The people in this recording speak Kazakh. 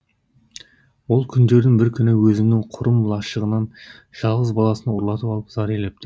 ол күндердің бір күні өзінің құрым лашығынан жалғыз баласын ұрлатып алып зар илепті